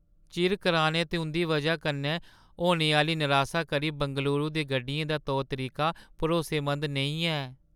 चिर कराने ते उं‘दी व‘जा कन्नै होने आह्‌ली नरासा करी बंगलूरू दी गड्डियें दा तौर-तरीका भरोसेमंद नेईं ऐ ।